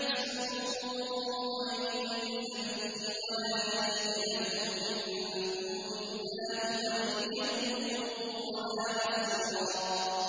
يَعْمَلْ سُوءًا يُجْزَ بِهِ وَلَا يَجِدْ لَهُ مِن دُونِ اللَّهِ وَلِيًّا وَلَا نَصِيرًا